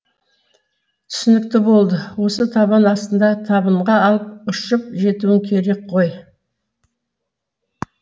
түсінікті болды осы табан астында табынға алып ұшып жетуің керек қой